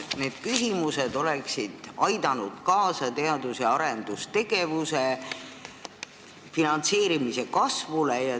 Need mõlemad oleksid aidanud kaasa teadus- ja arendustegevuse finantseerimise kasvule.